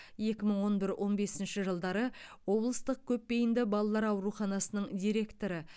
екі мың он бір он бесінші жылдары облыстық көпбейінді балалар ауруханасының директоры